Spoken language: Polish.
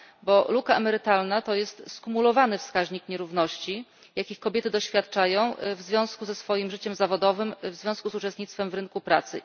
Bo luka emerytalna to jest skumulowany wskaźnik nierówności, jakich kobiety doświadczają w związku ze swoim życiem zawodowym, w związku z uczestnictwem w rynku pracy.